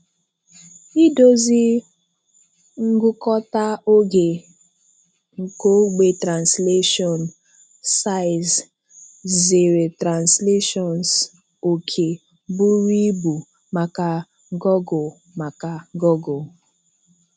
Idòzì ngụ̀kọ̀tà oge nke ogbe translation size zèrè translations ọ̀kè bùrù ìbú maka Google maka Google